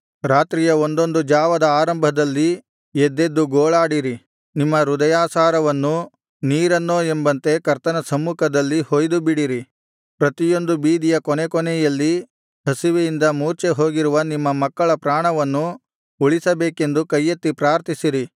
ರಾತ್ರಿಯ ಒಂದೊಂದು ಜಾವದ ಆರಂಭದಲ್ಲಿ ಎದ್ದೆದ್ದು ಗೋಳಾಡಿರಿ ನಿಮ್ಮ ಹೃದಯಸಾರವನ್ನು ನೀರನ್ನೋ ಎಂಬಂತೆ ಕರ್ತನ ಸಮ್ಮುಖದಲ್ಲಿ ಹೊಯ್ದು ಬಿಡಿರಿ ಪ್ರತಿಯೊಂದು ಬೀದಿಯ ಕೊನೆಕೊನೆಯಲ್ಲಿ ಹಸಿವೆಯಿಂದ ಮೂರ್ಛೆಹೋಗಿರುವ ನಿಮ್ಮ ಮಕ್ಕಳ ಪ್ರಾಣವನ್ನು ಉಳಿಸಬೇಕೆಂದು ಕೈಯೆತ್ತಿ ಪ್ರಾರ್ಥಿಸಿರಿ